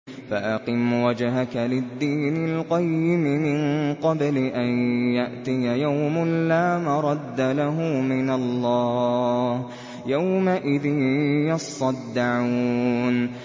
فَأَقِمْ وَجْهَكَ لِلدِّينِ الْقَيِّمِ مِن قَبْلِ أَن يَأْتِيَ يَوْمٌ لَّا مَرَدَّ لَهُ مِنَ اللَّهِ ۖ يَوْمَئِذٍ يَصَّدَّعُونَ